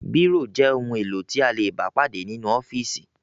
Bírò jẹ́ ohun-èlò tí a lè bá pàdé nínú ọ́fíísì.